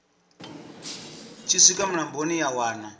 tshi swika mulamboni ya wana